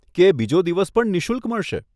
કે બીજો દિવસ પણ નિશુલ્ક મળશે?